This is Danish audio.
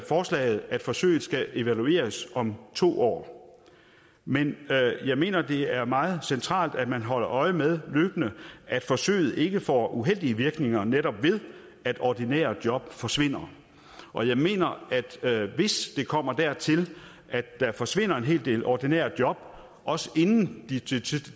forslaget at forsøget skal evalueres om to år men jeg mener det er meget centralt at man løbende holder øje med at forsøget ikke får uheldige virkninger netop ved at ordinære job forsvinder og jeg mener at hvis det kommer dertil at der forsvinder en hel del ordinære job inden